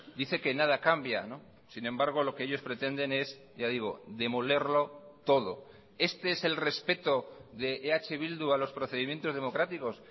dice que nada cambia sin embargo lo que ellos pretenden es ya digo demolerlo todo este es el respeto de eh bildu a los procedimientos democráticos